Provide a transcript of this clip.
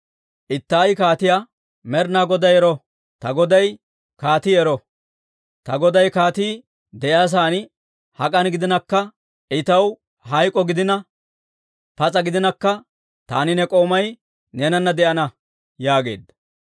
Ittaayi kaatiyaa, «Med'inaa Goday ero! Ta goday kaatii ero! Ta goday kaatii de'iyaa sa'aan hak'an gidinakka, I taw hayk'k'o gidina, pas'a gidinakka, taani ne k'oomay neenana de'ana» yaageedda.